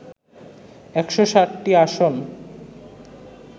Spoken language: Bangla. ১৬০টি আসন